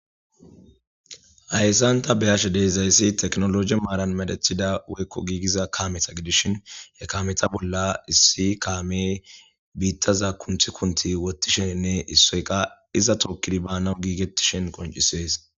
Hayisan ta be'ashe dizayis tekinolojy Marian medhetida woyiko gigiza kame gididaysa gidishin he kameta bolla issi kamey bitaza kunthi kunthi wotishene issoy qa iza tokidiy ekidi banawu gigitishe dizayis qonicises